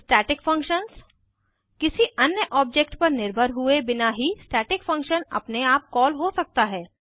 static functions किसी अन्य object पर निर्भर हुए बिना ही स्टैटिक फंक्शन अपने आप कॉल हो सकता है